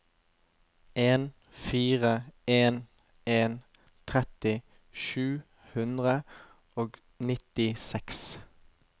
en fire en en tretti sju hundre og nittiseks